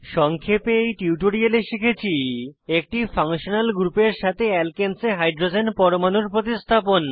সংক্ষেপে এই টিউটোরিয়াললে শিখেছি একটি ফাংশনাল গ্রুপের সাথে আলকানেস এ হাইড্রোজেন পরমাণুর প্রতিস্থাপন